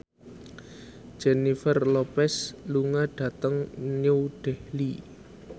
Jennifer Lopez lunga dhateng New Delhi